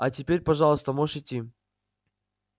а теперь пожалуйста можешь идти